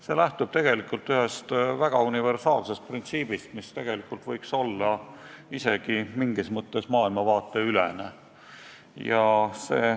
See lähtub ühest väga universaalsest printsiibist, mis võiks isegi mingis mõttes maailmavaateülene olla.